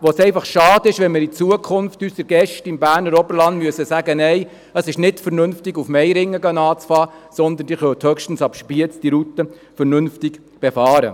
Es wäre einfach schade, wenn wir in Zukunft unseren Gästen im Berner Oberland sagen müssten, es sei nicht vernünftig, schon in Meiringen loszulegen, denn man könne diese Route höchstens ab Spiez vernünftig befahren.